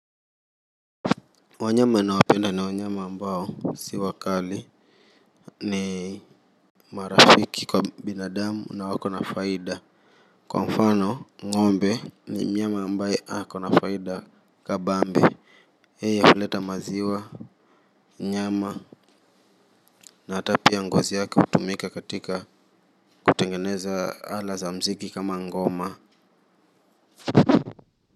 Wanyama nawapenda ni wanyama ambao, si wakali, ni marafiki kwa binadamu na wako na faida. Kwa mfano, ng'ombe ni mnyama ambaye ako na faida kabambe. Yeye huleta maziwa nyama na hata pia ngozi yake hutumika katika, kutengeneza ala za mziki kama ngoma.